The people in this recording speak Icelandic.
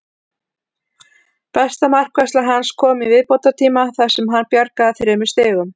Besta markvarsla hans kom í viðbótartíma þar sem hann bjargaði þremur stigum.